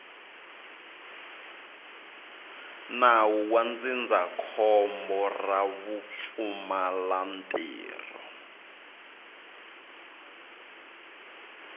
nawu wa ndzindzakhombo ra vupfumalantirho